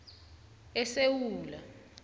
esewula